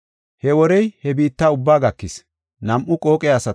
He worey he biitta ubbaa gakis.